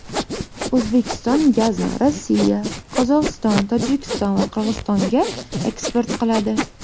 O‘zbekiston gazni Rossiya, Qozog‘iston, Tojikiston va Qirg‘izistonga eksport qiladi.